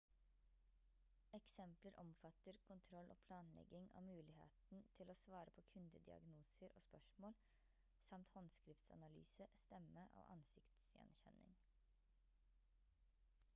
eksempler omfatter kontroll og planlegging av muligheten til å svare på kundediagnoser og spørsmål samt håndskriftsanalyse stemme og ansikts gjenkjenning